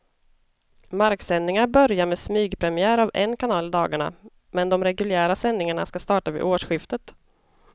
Marksändningar börjar med smygpremiär av en kanal i dagarna, men de reguljära sändningarna ska starta vid årsskiftet.